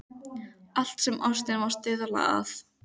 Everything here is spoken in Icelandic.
Allt sem ástin má stuðla að.